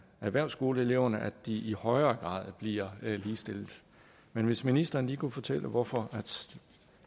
erhvervsskoleeleverne at de i højere grad bliver ligestillet men hvis ministeren lige kunne fortælle hvorfor